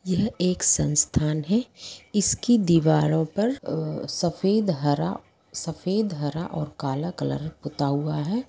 यह एक संसथान है इसके दीवारों पर आ सफ़ेद हरा सफ़ेद हरा और काला कलर पोथा हुआ है